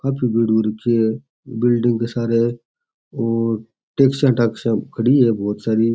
काफी भीड़ हो राखी है बिलडिंग के सारे और टेक्सिया टाक्सिया खड़ी है बहुत सारी --